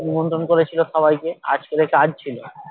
নিমন্ত্রণ করেছিল সবাইকে আজকে ওদের কাজ ছিল